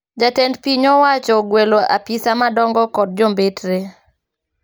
jJatend piny owacho ogwelo apisa madongo kod jombetre